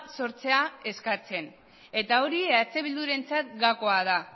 sortzea eskatzen eta hori eh bildurentzat gakoa da